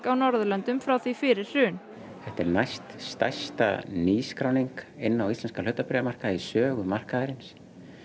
á Norðurlöndum frá því fyrir hrun þetta er næst stærsta nýskráning inn á íslenskan hlutabréfamarkað í sögu markaðarins